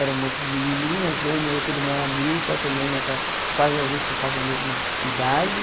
Éramos menininhas, eu e minha outra irmã, a Milta, também nessa quase a gente tem quase a mesma idade.